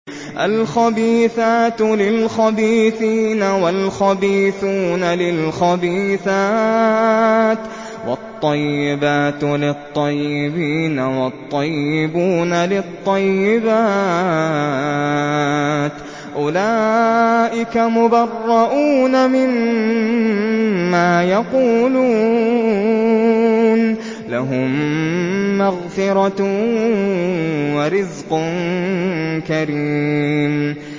الْخَبِيثَاتُ لِلْخَبِيثِينَ وَالْخَبِيثُونَ لِلْخَبِيثَاتِ ۖ وَالطَّيِّبَاتُ لِلطَّيِّبِينَ وَالطَّيِّبُونَ لِلطَّيِّبَاتِ ۚ أُولَٰئِكَ مُبَرَّءُونَ مِمَّا يَقُولُونَ ۖ لَهُم مَّغْفِرَةٌ وَرِزْقٌ كَرِيمٌ